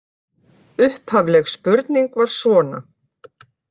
Upphafleg spurning var svona: